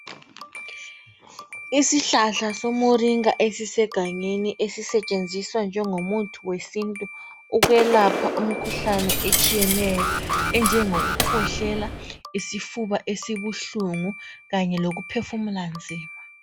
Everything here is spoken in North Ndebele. Isihlahla somuringa esisegangeni esisetshenziswa njengomuthi wesintu ukwelapha imikhuhlane etshiyeneyo enjengoku khwehlela, isifuba esibuhlungu kanye lokuphefumula nzima.